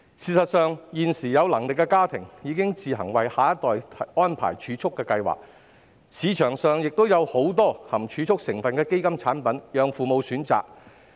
事實上，現時有能力的家庭已自行為下一代安排儲蓄計劃，市場上亦有很多含儲蓄成分的基金產品供父母選擇。